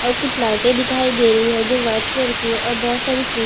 और कुछ लाइटें दिखाई दे रही है जो व्हाईट कलर की है और बहोत सारी कुर्सियां --